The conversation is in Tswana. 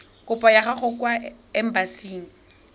kopo ya gago kwa embasing